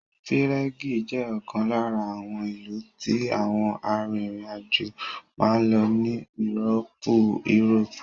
Pírégì ( Prague) jẹ́ ọ̀kan lára àwọn ìlú tí àwọn arìnrìn àjò máa ń lọ ní írópù (Europe)